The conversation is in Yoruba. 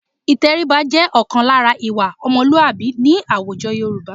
Ìtẹríba jẹ́ ọ̀kan lára ìwà ọmọlúàbí ní àwùjọ Yorùbá